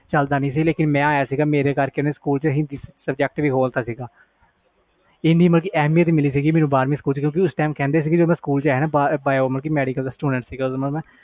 school ਵਿਚ ਚਲਦਾ ਨਹੀਂ ਮੈਂ ਆਇਆ ਸੀ ਮੇਰੇ ਕਰਕੇ ਹਿੰਦੀ subject allowed ਕੀਤਾ ਸੀ ਇੰਨੀ ਐਹਮੀਅਤ ਮਿਲੀ ਸੀ ਮੈਨੂੰ ਬਾਰ੍ਹਵੀਂ ਕਲਾਸ ਵਿਚ ਕਹਿੰਦੇ ਸੀ ਕਿ ਆਹ ਮੈਡੀਕਲ